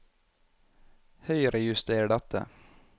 Høyrejuster dette